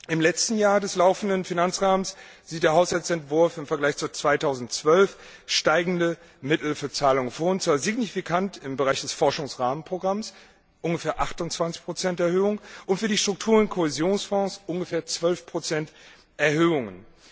Im letzten Jahr des laufenden Finanzrahmens sieht der Haushaltsentwurf im Vergleich zu 2012 steigende Mittel für Zahlungen vor, und zwar signifikant im Bereich des Forschungsrahmenprogramms ungefähr 28 Erhöhungen und für die Struktur und Kohäsionsfonds ungefähr 12 Erhöhungen.